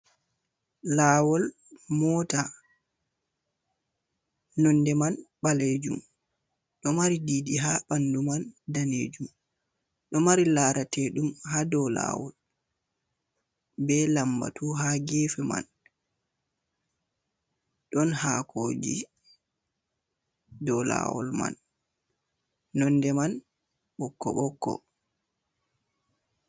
Lawol mota nonde man ɓalejum ɗo mari didi ha ɓandu man danejum, ɗo mari larateɗum ha do lawol be lambatu ha gefe man ɗon hakoji dou lawol nonde man ko ɓokko ɓokko.